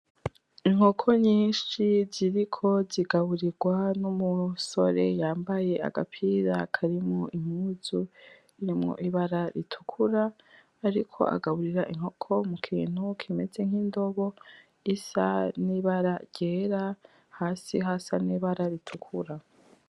Inkoko nyinshi ziriko zigaburigwa n'umusore yambaye agapira karimo impuzu karimo ibara ritukura ariko agaburira inkoko mukintu kimeze nk'indobo gisa n'ibara ryera hasi hasa n'ibara ritukura.